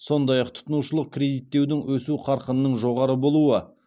сондай ақ тұтынушылық кредиттеудің өсу қарқынының жоғары болуы